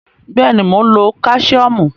Bẹ́ẹ̀ ni, mò ń lo Káṣíọ́mù.